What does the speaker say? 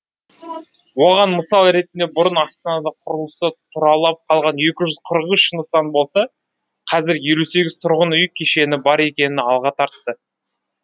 оған мысал ретінде бұрын астанада құрылысы тұралап қалған екі жүз қырық үш нысан болса қазір елу сегіз тұрғын үй кешені бар екенін алға тартты